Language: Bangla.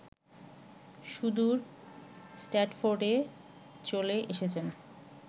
সুদূর স্ট্র্যার্টফোর্ডে চলে এসেছেন